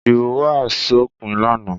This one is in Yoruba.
Ìdìbò wá sópin lánàá?